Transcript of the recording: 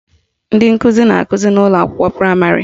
Ndị nkụzi na-akụzi n' ụlọakwụkwọ praịmarị